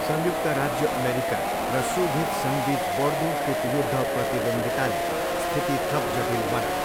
संयुक्त राज्य अमेरिका र सोभियत सङ्घबिच बढ्दो शीतयुद्ध प्रतिद्वन्द्विताले स्थिति थप जटिल बनायो।